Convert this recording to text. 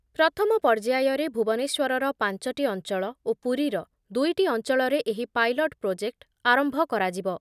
ପ୍ରଥମ ପର୍ଯ୍ୟାୟରେ ଭୁବନେଶ୍ଵରର ପାଞ୍ଚ ଟି ଅଞ୍ଚଳ ଓ ପୁରୀର ଦୁଇ ଟି ଅଞ୍ଚଳରେ ଏହି ପାଇଲଟ ପ୍ରୋଜେକ୍ଟ ଆରମ୍ଭ କରାଯିବ ।